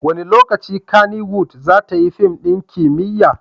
Wane lokaci Kannywood za ta yi fim ɗin kimiyya?